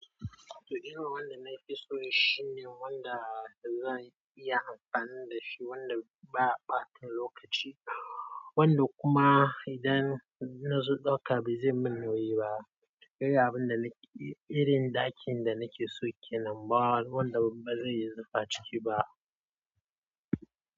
To, irin wanda na fi so shine wanda zan iya amfani da shi, wanda ba ɓatun lokaci, wanda kuma idan na zo ɗauka ba zai min nauyi ba. Kai ga irin ɗakin da nake so kenan, bawu wanda ba zai yi zufa ciki ba.